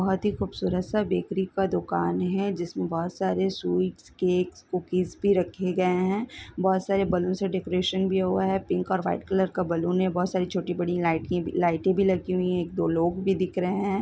बहुत ही खूबसूरत सा बेकरी का दुकान है जिसमे बहुत सारे स्वीट्स केक्स कूकीज भी रखे गए है बहुत सरे बलून्स और डेकरैशन भी हुआ है पिक और वाइट कलर का बलन है छोटी बड़ी लाई - लाइटें भी लगी हुई है एक दो लोग भी दिख रहे है।